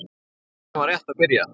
Tíminn var rétt að byrja.